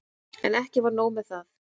En ekki var nóg með það.